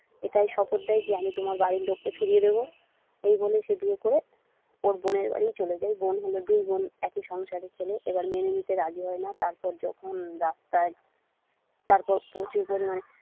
এটাই শপথ দেয় যে আমি তোমার বাড়ির লোককে ফিরিয়ে দেবো এই বলে সে বিয়ে করে ওর বোনের বাড়ি চলে যায় ওর বোন হল দুই বোন একই সংসারের ছেলে এবার মেনে নিতে রাজি হয় না তারপর যখন ডাক্তার তারপর প্রচুর পরিমানে।